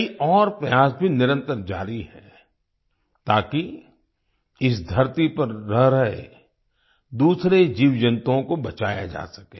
कई और प्रयास भी निरंतर जारी हैं ताकि इस धरती पर रह रहे दूसरे जीवजंतुओं को बचाया जा सके